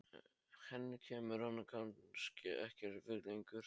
Henni kemur hann kannski ekkert við lengur.